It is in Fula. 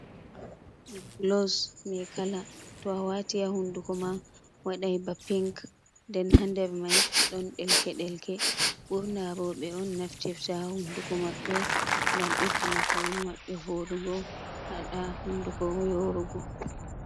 biblos maikala, to a wati ha hunduko ma wadai ba pink den hader mai don delke-delke. Ɓurna Roɓe on naftifta ha hunduko maɓɓe ngam beddina paune maɓɓe vodugo, haɗa hunduko yorugo.